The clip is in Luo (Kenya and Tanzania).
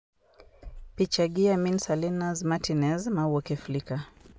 Picha gi Yamil Salinas Martínez mawuok e Flickr.